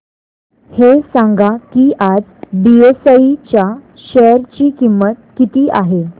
हे सांगा की आज बीएसई च्या शेअर ची किंमत किती आहे